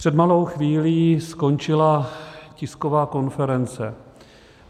Před malou chvílí skončila tisková konference.